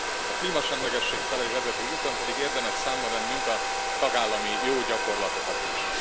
A klímasemlegesség felé vezető úton pedig érdemes számba vennünk a tagállami jó gyakorlatokat is.